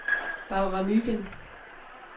Barbara Mygind